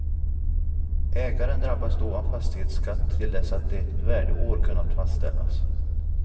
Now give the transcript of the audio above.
Ägaren drabbas då av fastighetsskatt till dess att ett värdeår kunnat fastställas.